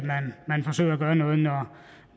gøre noget